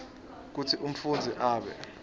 kutsi umfundzi abe